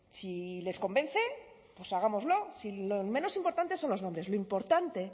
si les convence pues hagámoslo si lo menos importante son los nombres lo importante